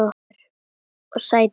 Sædís dæsir.